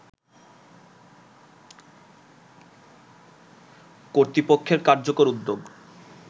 কর্তৃপক্ষের কার্যকর উদ্যোগ